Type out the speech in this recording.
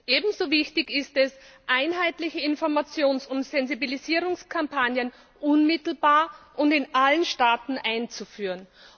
Ebenso wichtig ist es, einheitliche Informations und Sensibilisierungskampagnen unmittelbar und in allen Staaten einzuführen.